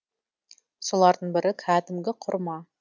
солардың бірі кәдімгі құрма